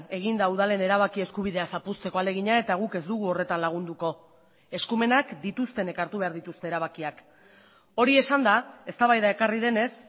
egin da udalen erabaki eskubidea zapuzteko ahalegina eta guk ez dugu horretan lagunduko eskumenak dituztenek hartu behar dituzte erabakiak hori esanda eztabaida ekarri denez